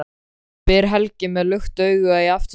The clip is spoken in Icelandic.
spyr Helgi með lukt augu í aftursætinu.